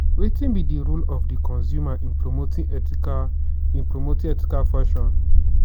wetin be di role of di consumer in promoting ethical in promoting ethical fashion?